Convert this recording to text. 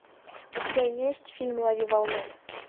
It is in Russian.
у тебя есть фильм лови волну